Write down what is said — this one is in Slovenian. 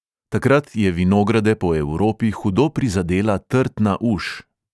Takrat je vinograde po evropi hudo prizadela trtna uš.